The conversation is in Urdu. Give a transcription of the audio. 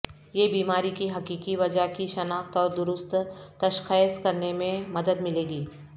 یہ بیماری کی حقیقی وجہ کی شناخت اور درست تشخیص کرنے میں مدد ملے گی